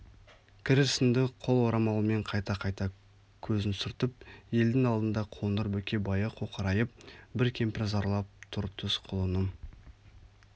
кір ісіңді қол орамалымен қайта-қайта көзін сүртіп елдің алдында қоңыр бөкебайы қоқырайып бір кемпір зарлап тұр түс құлыным